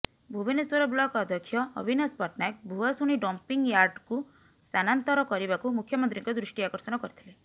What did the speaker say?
Bhubaneswar block ଅଧ୍ୟକ୍ଷ ଅବିନାଶ ପଟ୍ଟନାୟକ ଭୂଆଶୁଣି ଡମ୍ପିଂୟାର୍ଡକୁ ସ୍ଥାନାନ୍ତର କରିବାକୁ ମୁଖ୍ୟମନ୍ତ୍ରୀଙ୍କ ଦୃଷ୍ଟି ଆକର୍ଷଣ କରିଥିଲେ